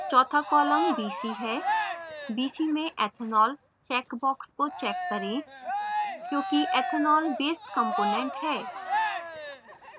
चौथा column bc है bc में ethanol check box को check करें क्योंकि ethanol base component है